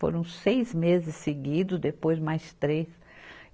Foram seis meses seguidos, depois mais três.